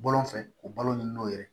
Bɔlɔn fɛ k'o balo nin no yɛrɛ